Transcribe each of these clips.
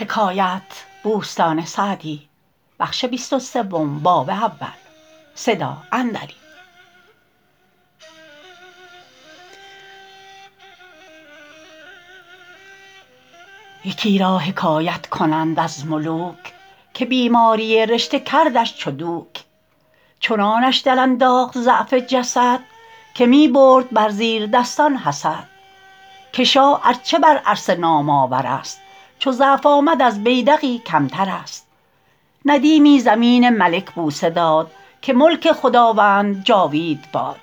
یکی را حکایت کنند از ملوک که بیماری رشته کردش چو دوک چنانش در انداخت ضعف جسد که می برد بر زیردستان حسد که شاه ار چه بر عرصه نام آور است چو ضعف آمد از بیدقی کمتر است ندیمی زمین ملک بوسه داد که ملک خداوند جاوید باد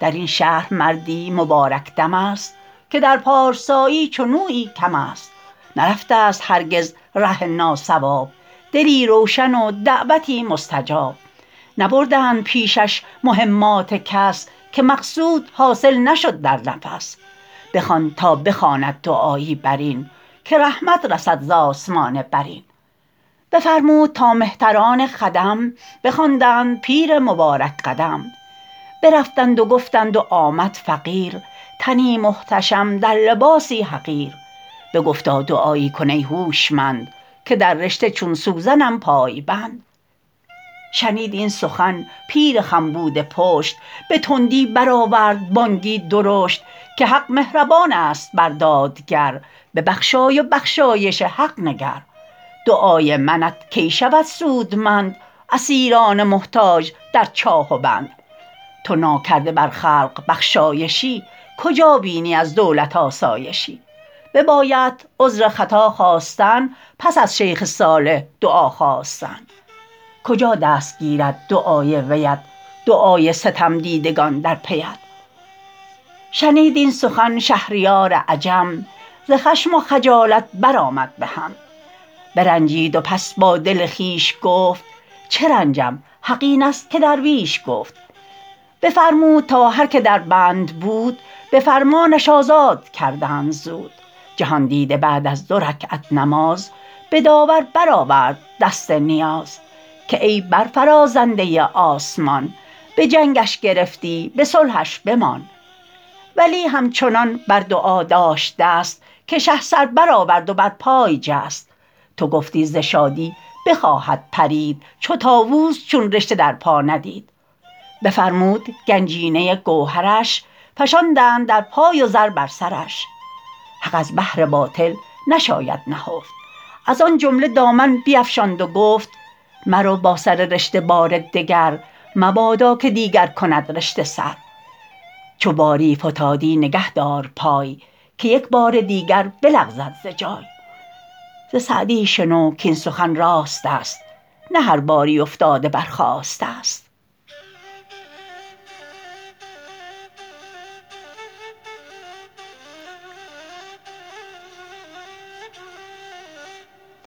در این شهر مردی مبارک دم است که در پارسایی چنویی کم است نرفته ست هرگز ره ناصواب دلی روشن و دعوتی مستجاب نبردند پیشش مهمات کس که مقصود حاصل نشد در نفس بخوان تا بخواند دعایی بر این که رحمت رسد ز آسمان برین بفرمود تا مهتران خدم بخواندند پیر مبارک قدم برفتند و گفتند و آمد فقیر تنی محتشم در لباسی حقیر بگفتا دعایی کن ای هوشمند که در رشته چون سوزنم پای بند شنید این سخن پیر خم بوده پشت به تندی برآورد بانگی درشت که حق مهربان است بر دادگر ببخشای و بخشایش حق نگر دعای منت کی شود سودمند اسیران محتاج در چاه و بند تو ناکرده بر خلق بخشایشی کجا بینی از دولت آسایشی ببایدت عذر خطا خواستن پس از شیخ صالح دعا خواستن کجا دست گیرد دعای ویت دعای ستمدیدگان در پیت شنید این سخن شهریار عجم ز خشم و خجالت بر آمد بهم برنجید و پس با دل خویش گفت چه رنجم حق است این که درویش گفت بفرمود تا هر که در بند بود به فرمانش آزاد کردند زود جهاندیده بعد از دو رکعت نماز به داور برآورد دست نیاز که ای برفرازنده آسمان به جنگش گرفتی به صلحش بمان ولی همچنان بر دعا داشت دست که شه سر برآورد و بر پای جست تو گفتی ز شادی بخواهد پرید چو طاووس چون رشته در پا ندید بفرمود گنجینه گوهرش فشاندند در پای و زر بر سرش حق از بهر باطل نشاید نهفت از آن جمله دامن بیفشاند و گفت مرو با سر رشته بار دگر مبادا که دیگر کند رشته سر چو باری فتادی نگه دار پای که یک بار دیگر بلغزد ز جای ز سعدی شنو کاین سخن راست است نه هر باری افتاده برخاسته ست